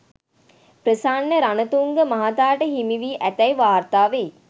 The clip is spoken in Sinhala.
ප්‍රසන්න රණතුංග මහතාට හිමි වී ඇතැයි වාර්තා වෙයි.